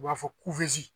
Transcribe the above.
U b'a fɔ